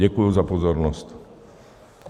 Děkuji za pozornost.